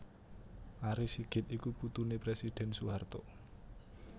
Ari Sigit iku putuné Presiden Soeharto